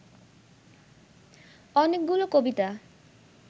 অনেকগুলো কবিতা